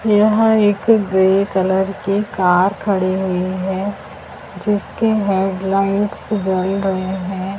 यहां एक grey colour car खड़ी हुई है जिसके हैडलाइट्स जल रहे हैं।